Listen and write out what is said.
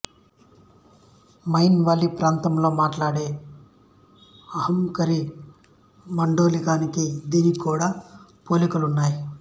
mine వాలీ ప్రాంతంలో మాట్లాడే అవాంకరీ మాండలికానికీ దీనికీ కూడా పోలికలున్నాయి